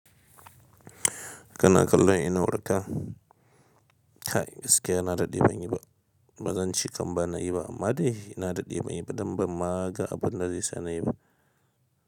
Kana kallon inuwarka? Kai gaskiya na daɗe ban yi ba. Ba zan ci kam ban nayi ba amma dai na daɗe banyi ba don ba ma ga abin da zai sa na yi ba.